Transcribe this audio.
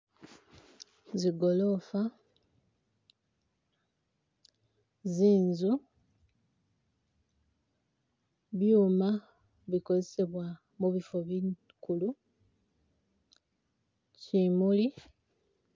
Zigolofa, zinzu, byuma bikozesebwa mubifo bikulu, kyimuli.